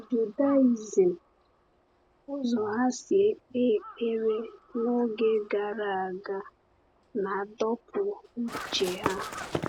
Judaism, ụzọ ha si ekpe ekpere n’oge gara aga, na-adọpụ uche ha.